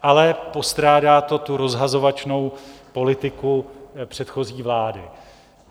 Ale postrádá to tu rozhazovačnou politiku předchozí vlády.